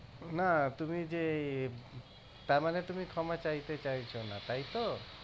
না তুমি যে ইয়ে তার মানে তুমি ক্ষমা চাইতে চাইছ না তাই তো